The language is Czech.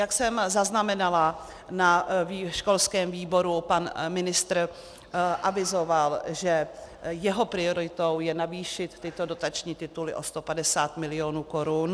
Jak jsem zaznamenala na školském výboru, pan ministr avizoval, že jeho prioritou je navýšit tyto dotační tituly o 150 milionů korun.